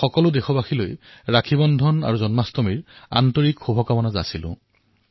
সকলো দেশবাসীকে ৰক্ষাবন্ধন তথা জন্মাষ্টমীৰ অলেখ শুভকামনা জনাইছোঁ